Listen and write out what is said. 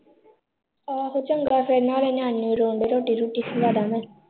ਆਹੋ ਚੰਗਾ ਫਿਰ ਨਾਲੇ ਨਿਆਣੇ ਨਿਓਣੇ ਰੋਣ ਦੇ ਰੋਟੀ-ਰੂਟੀ ਖਵਾ ਦਾ ਮੈਂ